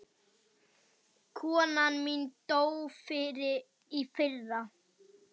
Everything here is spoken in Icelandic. Konan mín dó í fyrra.